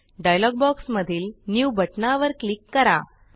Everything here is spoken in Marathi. डायलॉग बॉक्समधील न्यू बटणावर क्लिक करा